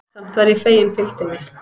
Samt var ég fegin fylgdinni.